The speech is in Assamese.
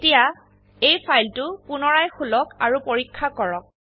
এতিয়া এই ফাইলটো পুনৰায় খুলক আৰু পৰীক্ষা কৰক